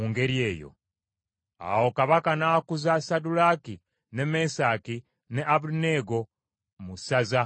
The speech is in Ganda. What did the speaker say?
Awo kabaka n’akuza Saddulaaki, ne Mesaki ne Abeduneego mu ssaza ery’e Babulooni.